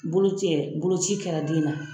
Bolocɛ boloci kɛra den na